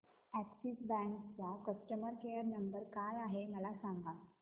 Axis bank चा customer care number काय आहे मला सांगा